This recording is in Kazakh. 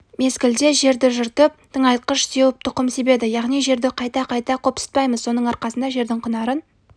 мезгілде жерді жыртып тыңайтқыш сеуіп тұқым себеді яғни жерді қайта-қайта қопсытпаймыз соның арқасында жердің құнарын